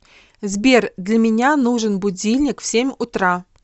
сбер для меня нужен будильник в семь утра